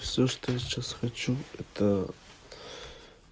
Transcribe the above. все что я сейчас хочу это